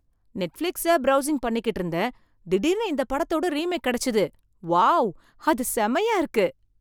Netflix browsing பண்ணிகிட்டு இருந்தேன், திடீர்னு இந்தப் படத்தோட ரீமேக் கிடைச்சது. வாவ், அது செம்மயா இருக்கு!